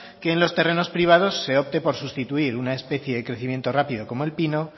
que en los terrenos privados se opte por sustituir una especie de crecimiento rápido como el pino